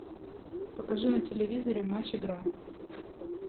покажи на телевизоре матч игра